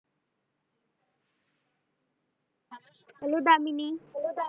hello Damini hello Damini.